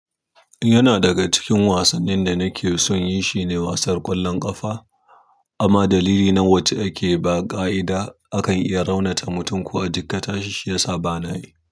Yana daga cikin wasannin da nake son inyi shine wasar ƙwallon ƙafa. Amma dalili na wacce ake ba ƙa'ida akan iya raunata mutum ko a jikkata shi shi ya sa ba na yi.